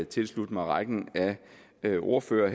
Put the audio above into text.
tilslutte mig rækken af ordførere